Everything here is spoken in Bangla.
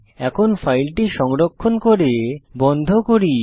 এখন ফাইলটি সংরক্ষণ করে বন্ধ করি